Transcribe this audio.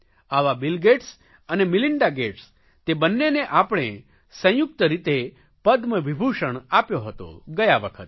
આવા Bill Gates અને Melinda Gates તે બંનેને આપણે સંયુક્ત રીતે પદ્મ વિભૂષણ આપ્યો હતો ગયા વખતે